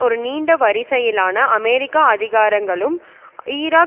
ஒரு நீண்ட வரிசையிலான அமெரிக்க அதிகாரங்களும் ஈராக்